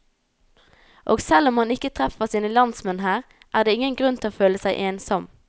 Og selv om man ikke treffer sine landsmenn her, er det ingen grunn til å føle seg ensom.